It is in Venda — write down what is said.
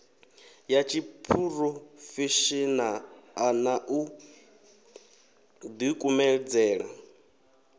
ya tshiphurofeshenaḽa na u ḓikumedzela